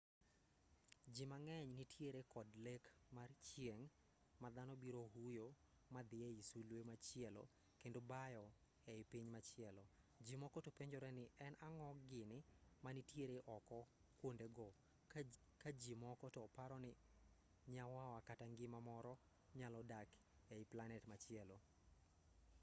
ji mang'eny nitiere kod lek mar chieng' ma dhano biro huyo madhi ei sulwe machielo kendo bayo ei piny machielo ji moko to penjore ni en ang'o gini manitiere oko kwondego ka ji moko to paro ni nyawawa kata ngima moro nyalo dak ei planet machielo